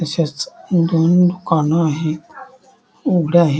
तशेच दोन दुकान आहेत उघडे आहेत.